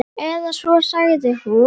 Eða svo sagði hún.